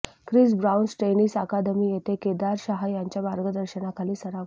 Chris Bounce Tennis Academy येथे केदार शहा यांच्या मार्गदर्शनाखाली सराव करतो